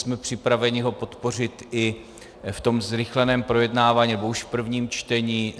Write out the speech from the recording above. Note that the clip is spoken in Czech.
Jsme připraveni ho podpořit i v tom zrychleném projednávání, nebo už v prvním čtení.